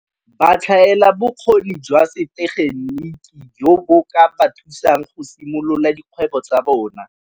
Ba tlhaela bokgoni jwa setegeniki joo bo ka ba thusang go simolola dikgwebo tsa bona.